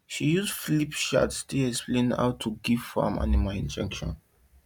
she use flipchart take explain how to give farm animal injection